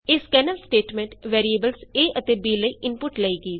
ਇਹ scanf statement variables a ਅਤੇ b ਲਈ ਇਨਪੁਟ ਲਏਗੀ